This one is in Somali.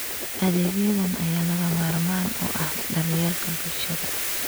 Adeegyadan ayaa lagama maarmaan u ah daryeelka bulshada.